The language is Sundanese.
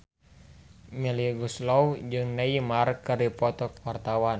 Melly Goeslaw jeung Neymar keur dipoto ku wartawan